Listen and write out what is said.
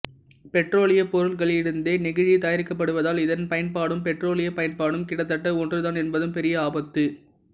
பெட்ரோலியப் பொருட்களிலிருந்தே நெகிழி தயாரிக்கப்படுவதால் இதன் பயன்பாடும் பெட்ரோலியப் பயன்பாடும் கிட்டத்தட்ட ஒன்றுதான் என்பதும் பெரிய ஆபத்து